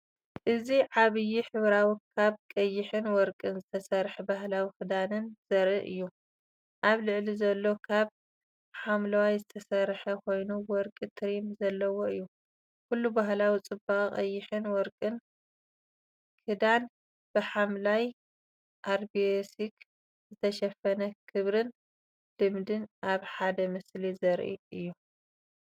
እዚ ዓቢይ ሕብራዊ ካብ ቀይሕን ወርቅን ዝተሰርሐ ባህላዊ ክዳንን ዘርኢ እዩ። ኣብ ላዕሊ ዘሎ ካብ ሐምላይ ዝተሰርሐ ኮይኑ ወርቂ ትሪም ዘለዎ እዩ። ኩሉ ባህላዊ ጽባቐ! ቀይሕን ወርቅን ክዳን፡ብሐምላይ ኣራቤስክ ዝተሸፈነ። ክብርን ልምድን ኣብ ሓደ ምስሊ ዘርኢ አዩ።